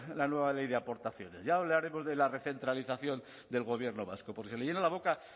la nueva ley de aportaciones ya hablaremos de la recentralización del gobierno vasco porque se le llena la boca